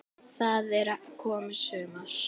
Það er komið sumar.